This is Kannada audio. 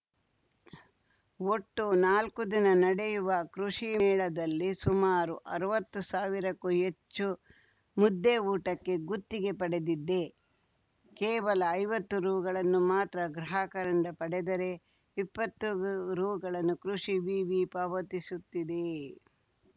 ಒಟ್ಟು ನಾಲ್ಕು ದಿನ ನಡೆಯುವ ಕೃಷಿ ಮೇಳದಲ್ಲಿ ಸುಮಾರು ಅರ್ವತ್ತು ಸಾವಿರಕ್ಕೂ ಹೆಚ್ಚು ಮುದ್ದೆ ಊಟಕ್ಕೆ ಗುತ್ತಿಗೆ ಪಡೆದಿದ್ದೆ ಕೇವಲ ಐವತ್ತು ರುಗಳನ್ನು ಮಾತ್ರ ಗ್ರಾಹಕರಿಂದ ಪಡೆದರೆ ಇಪ್ಪತ್ತು ರೂಗಳನ್ನು ಕೃಷಿ ವಿವಿ ಪಾವತಿಸುತ್ತಿದೆ